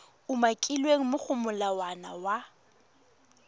umakilweng mo go molawana wa